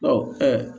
Ɔ ɛ